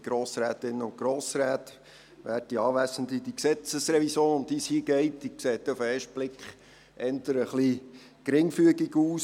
Die vorliegende Gesetzesrevision sieht auf den ersten Blick geringfügig aus.